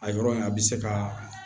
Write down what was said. A yɔrɔ in a bɛ se ka